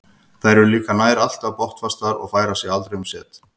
Þeir eru líka nær alltaf botnfastir og færa sig aldrei um set.